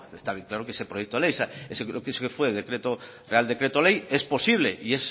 está bien claro que ese proyecto ley ese fue real decreto ley es posible y